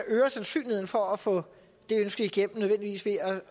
øger sandsynligheden for at få det ønske igennem ved